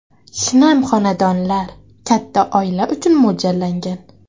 Shinam xonadonlar katta oila uchun mo‘ljallangan.